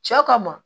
Cɛ kama